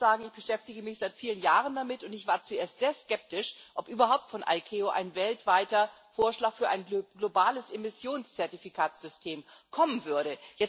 Aber ich muss sagen, ich beschäftige mich seit vielen Jahren damit und ich war zuerst sehr skeptisch, ob von der ICAO überhaupt ein weltweiter Vorschlag für ein globales Emissionszertifikatssystem kommen würde.